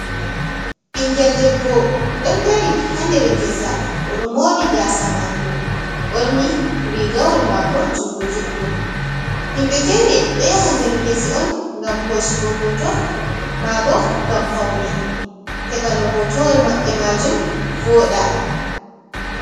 Ɓingel debbo, ɗon dari ha nder gesa. Oɗo mori gasa mako ɓorni rigawol mako jungo judɗum. Himbe fere ɗo yaha der Ngese'on ngam hosugo hoto, mabo ngam Paune heɓa no hotowol Mabɓe Majum voɗa.